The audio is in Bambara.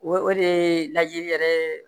O o de ye lajɛli yɛrɛ